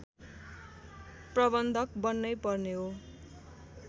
प्रबन्धक बन्नै पर्ने हो